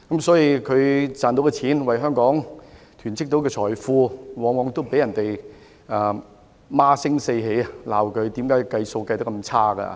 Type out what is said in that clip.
財政司司長為香港囤積財富，但卻往往被市民責罵他的估算做得差。